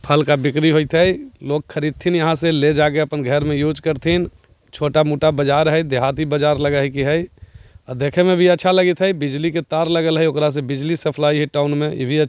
फल का बिक्री हो रहा है लोग खरीदते हैं यहाँ से ले जाके अपने घर में यूज करते हैं छोटा-मोटा बाजार है देहाती बाजार लगा हुआ है देखने में भी अच्छा लगता है बिजली के तार लगे हैं उससे बिजली सप्लाय है टाउन में---